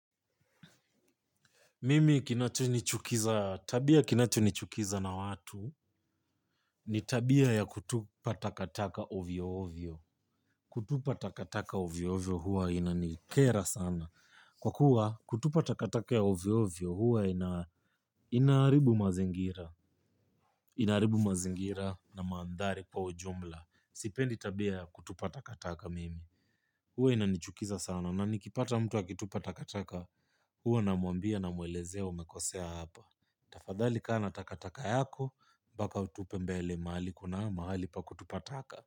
Mimi kinachonichukiza, tabia kinachonichukiza na watu, ni tabia ya kutupa takataka ovyo ovyo. Kutupa takataka ovyo ovyo huwa inanikera sana. Kwa kuwa kutupa takataka ovo ovyo huwa inaharibu mazingira. Inaharibu mazingira na manthari kwa ujumla. Sipendi tabia kutupa takataka mimi. Huwa inanichukiza sana na nikipata mtu akitupa takataka huwa namwelezea umekosea hapa. Tafadhali kaa na takataka yako, mbaka utupe mbele mahali kuna mahali pa kutupa taka.